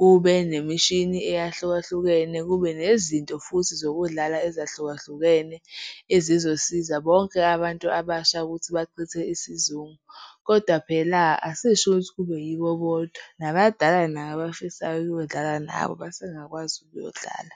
Kube nemishini eyahlukahlukene, kube nezinto futhi zokudlala ezahlukahlukene ezizosiza bonke abantu abasha ukuthi bachithe isizungu. Kodwa phela asisho ukuthi kube yibo bodwa, nabadala nabo abafisayo ukuyodlala nabo basengakwazi ukuyodlala.